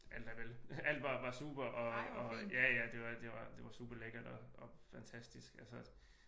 Alt er vel alt var super og ja ja det var super lækkert og fantastisk altså